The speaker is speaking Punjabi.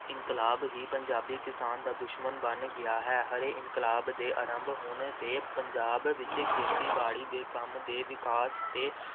ਇਨਕਲਾਬ ਹੀ ਪੰਜਾਬੀ ਕਿਸਾਨ ਦਾ ਦੁਸ਼ਮਣ ਬਣ ਗਿਆ ਹੈ । ਹਰੇ ਇਨਕਲਾਬ ਦੇ ਆਰੰਭ ਹੋਣ 'ਤੇ ਪੰਜਾਬ ਵਿੱਚ ਖੇਤੀਬਾੜੀ ਦੇ ਕੰਮ ਦੇ ਵਿਕਾਸ ਅਤੇ